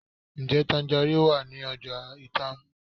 Njẹ tangerine wa ni ọja Itam?